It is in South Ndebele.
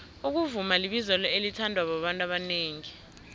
ukuvuma libizelo elithandwa babantu abanengi